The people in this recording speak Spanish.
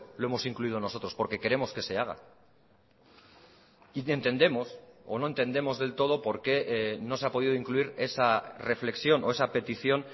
lo hemos incluido nosotros porque queremos que se haga y entendemos o no entendemos del todo por qué no se ha podido incluir esa reflexión o esa petición